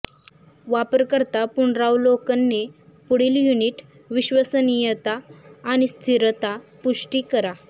वापरकर्ता पुनरावलोकने पुढील युनिट विश्वसनीयता आणि स्थिरता पुष्टी करा